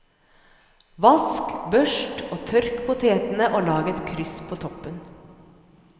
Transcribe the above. Vask, børst og tørk potetene og lag et kryss på toppen.